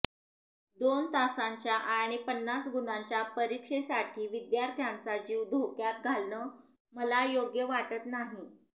दोन तासांच्या आणि पन्नास गुणांच्या परीक्षेसाठी विद्यार्थ्यांचा जीव धोक्यात घालणं मला योग्य वाटत नाही